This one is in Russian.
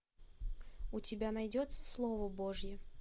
у тебя найдется слово божье